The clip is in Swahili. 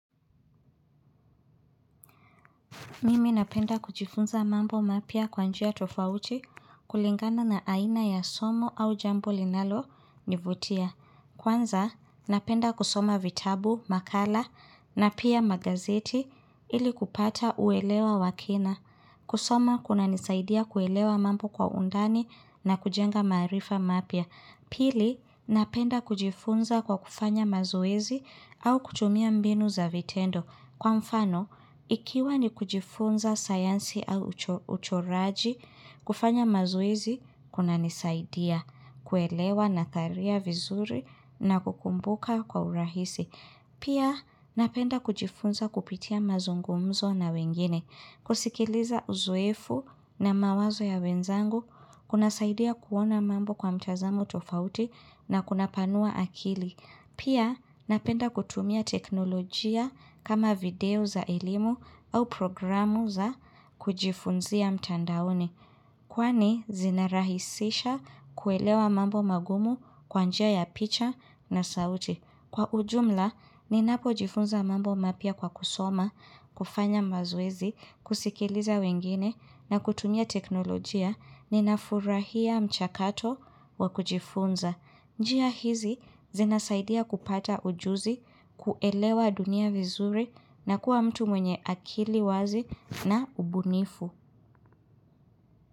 Mimi napenda kujifunza mambo mapia kwanjia tofauti kulingana na aina ya somo au jambo linalo nivutia. Kwanza napenda kusoma vitabu, makala na pia magazeti ili kupata uelewa wakina. Kusoma kuna nisaidia kuelewa mambo kwa undani na kujenga maarifa mapia. Pili napenda kujifunza kwa kufanya mazoezi au kutumia mbinu za vitendo. Kwa mfano, ikiwa ni kujifunza sayansi au ucho raji, kufanya mazoezi, kuna nisaidia, kuelewa natharia vizuri na kukumbuka kwa urahisi. Pia, napenda kujifunza kupitia mazungumzo na wengine, kusikiliza uzoefu na mawazo ya wenzangu, kuna saidia kuona mambo kwa mtazamo tofauti na kuna panua akili. Pia napenda kutumia teknolojia kama video za elimu au programu za kujifunzia mtandaoni. Kwani zinarahisisha kuelewa mambo magumu kwanjia ya picha na sauti. Kwa ujumla, ninapo jifunza mambo mapia kwa kusoma, kufanya mazoezi, kusikiliza wengine, na kutumia teknolojia, ninafurahia mchakato wa kujifunza. Njia hizi zina saidia kupata ujuzi, kuelewa dunia vizuri na kuwa mtu mwenye akili wazi na ubunifu.